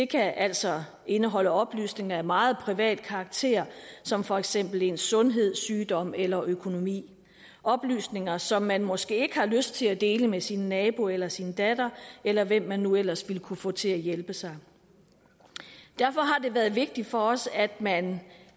kan altså indeholde oplysninger af meget privat karakter som for eksempel ens sundhed sygdom eller økonomi oplysninger som man måske ikke har lyst til at dele med sin nabo eller sin datter eller hvem man nu ellers ville kunne få til at hjælpe sig derfor har det været vigtigt for os at man